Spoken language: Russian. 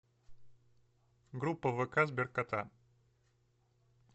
группа в вк сберкота